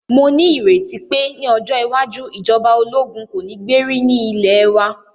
Mó ní ìrètí pé ní ọjọ́ iwájú, ìjọba ológun kò ní gbé rí ní ilẹ̀ wa.